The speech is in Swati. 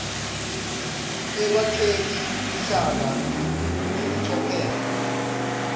ekwakheni luhlaka ngelicophelo